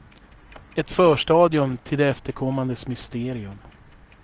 Ett förstadium till det efterkommandes mysterium.